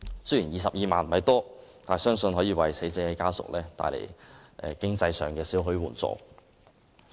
雖然22萬元不算多，但相信可為死者家屬經濟上帶來少許援助。